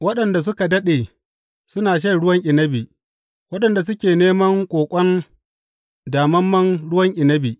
Waɗanda suke daɗe suna shan ruwan inabi, waɗanda suke neman ƙoƙon damammen ruwan inabi.